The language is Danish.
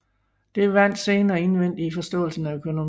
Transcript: Det vandt senere indvending i forståelsen af økonomi